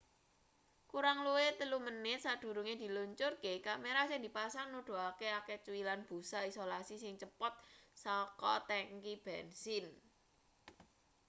kurang luwih 3 menit sadurunge diluncurke kamera sing dipasang nuduhake akeh cuilan busa isolasi sing cepot saka tengki bensin